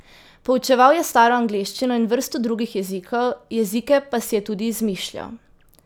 Poučeval je staro angleščino in vrsto drugih jezikov, jezike pa si je tudi izmišljal.